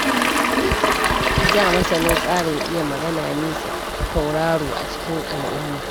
A da, masanin tsarin iya magana ne tauraro a cikin al'umma.